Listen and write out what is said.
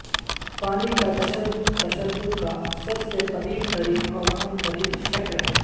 پانی کا تشدد تشدد کا سب سے قدیم ترین اور عام ترین شکل ہے